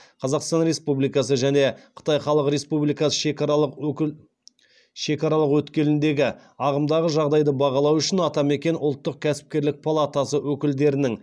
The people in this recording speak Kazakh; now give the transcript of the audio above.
қазақстан республикасы және қытай халық республикасы шекаралық өткеліндегі ағымдағы жағдайды бағалау үшін атамекен ұлттық компания палатасы өкілдерінің